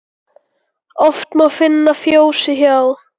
Oft má finna fjósi hjá.